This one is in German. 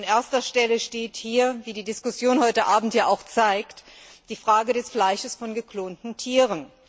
An erster Stelle steht hier, wie die Diskussion heute Abend hier auch zeigt, die Frage des Fleisches von geklonten Tieren.